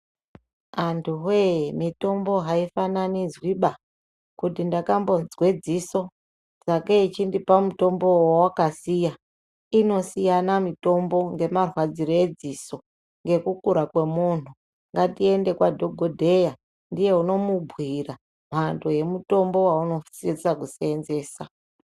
Anduwe mitombo aifananidzwi ba kuti ndaka mbonzwe dziso sakei chindipawo mutombo wawakasiya. Inosiyana mutombo ngemarwadzire edziso ngekukura kwemundu nagtiyende kwadhokodheya ndiye unomubhuira Mhando yemitombo wausosisa kuseenzesa.